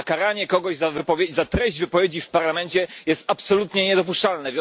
A karanie kogoś za treść wypowiedzi w Parlamencie jest absolutnie niedopuszczalne.